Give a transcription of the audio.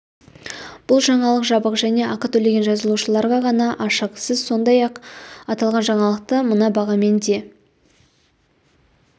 бұл жаңалық жабық және ақы төлеген жазылушыларға ғана ашық сіз сондай-ақ аталған жаңалықты мына бағамен де